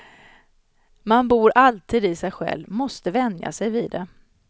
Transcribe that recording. Man bor alltid i sig själv, måste vänja sig vid det.